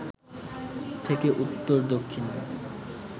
থেকে উত্তর দক্ষিণ